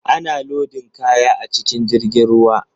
Ana lodin kaya a cikin jirgin ruwa.